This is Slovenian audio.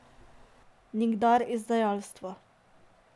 Nikdar izdajstva.